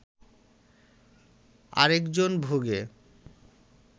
আরেকজন ভোগে